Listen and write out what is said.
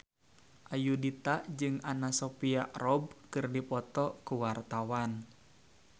Ayudhita jeung Anna Sophia Robb keur dipoto ku wartawan